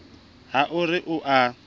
ha o re o a